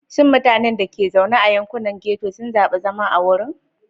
Shin mutanen da ke zaune a yankunan ghetto sun zaɓi zama a wurin?